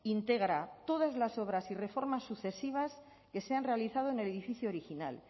integra todas las obras y reformas sucesivas que se han realizado en el edificio original